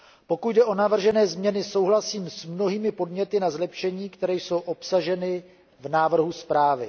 Pokud jde o navržené změny, souhlasím s mnohými podněty na zlepšení, které jsou obsaženy v návrhu zprávy.